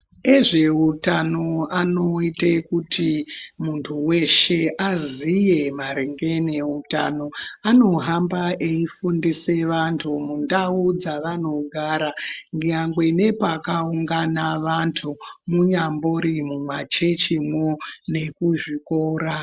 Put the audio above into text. Vezvehutano vanoita kuti muntu weshe azive maringe nehutano anohamba eifundisa vantu mundau dzavanonga veigara nyangwe nepakaungana antu munyangori mumachurch mwo nekuzvikora.